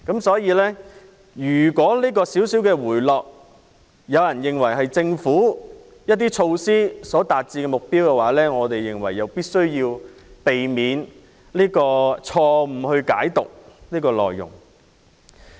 所以，如果有人認為樓價輕微回落，是政府一些措施所達致的目標，我們認為必須避免這種錯誤解讀。